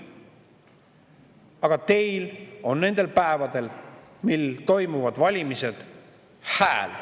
Aga teil on nendel päevadel, kui toimuvad valimised, hääl.